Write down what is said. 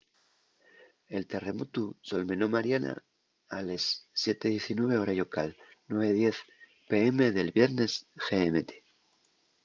el terremotu solmenó mariana a les 07:19 hora llocal 09:10 p.m. del viernes gmt